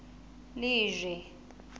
lejwe